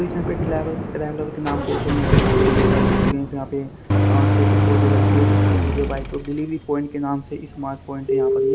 एक यहां पे के नाम से कोने पे काफी बड़ी गाड़ी खड़ी है एक यहाँ पे अ छोटी फोर्स भी लग रही है स्कूटी पे बाइक पे डिलीवरी प्वाइंट के नाम से स्मार्ट प्वाइंट है यहाँ पर ये।